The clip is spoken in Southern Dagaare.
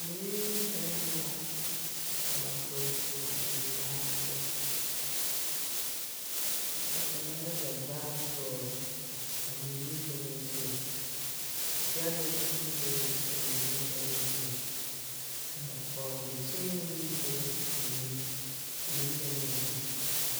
Mui ne bɛŋɛ la ka ba dɔge ŋmaa eŋ laa poɔ. Ba ŋmaɛɛ zɛvaar dɔɔl a mui ne bɛŋɛ zu. Gyɛlee meŋ bebe a mui ne bɛŋɛ zu. Ka bɔɔdekyeene meŋ bebe a mui na ne bɛŋɛ zu.